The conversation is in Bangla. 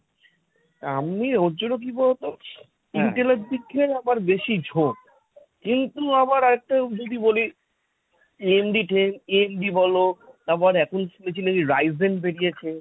আমি ওর জন্য কি বলতো? intel এর দিক থেকে আমার বেশি ঝোঁক। কিন্তু আবার একটা যদি বলি ad~ AMD বল আবার এখন শুনছি নাকি risen বেরিয়েছে,